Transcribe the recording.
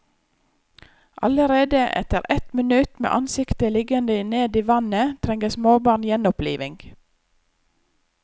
Allerede etter ett minutt med ansiktet liggende ned i vannet trenger småbarn gjenopplivning.